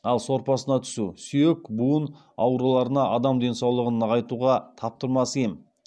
ал сорпасына түсу сүйек буын ауруларына адам денсаулығын нығайтуға таптырмас ем